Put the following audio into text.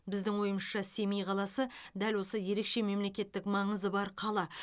біздің ойымызша семей қаласы дәл осы ерекше мемлекеттік маңызы бар қала